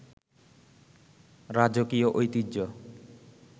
রাজকীয় ঐতিহ্য